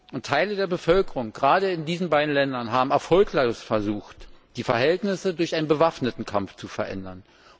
Und Teile der Bevölkerung gerade in diesen beiden Ländern haben erfolglos versucht, die Verhältnisse durch einen bewaffneten Kampf zu verändern.